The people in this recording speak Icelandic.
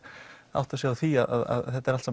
átta sig á því að þetta er allt